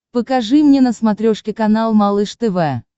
покажи мне на смотрешке канал малыш тв